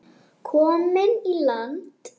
Komin í land.